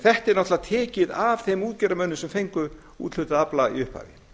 þetta er náttúrlega tekið af þeim útgerðarmönnum sem fengu úthlutaðan afla í upphafi